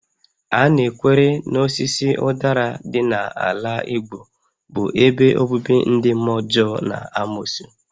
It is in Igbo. A na-ekwere na osisi ụdara dị n'ala Igbo bụ ebe obibi ndị mmụọ ọjọọ na amosu